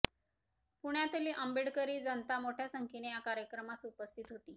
पुण्यातील आंबेडकरी जनता मोठया संख्येने या कार्यक्रमास उपस्थित होती